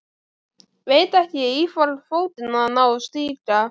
Veit ekki í hvorn fótinn hann á að stíga.